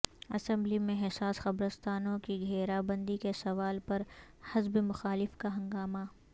assembly میں حساس قبرستانوں کی گھیرا بندی کے سوال پر حزب مخالف کا ہنگامہ